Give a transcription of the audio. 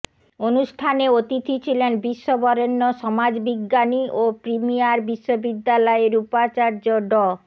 অনুষ্ঠানে অতিথি ছিলেন বিশ্ববরেণ্য সমাজবিজ্ঞানী ও প্রিমিয়ার বিশ্ববিদ্যালয়ের উপাচার্য ড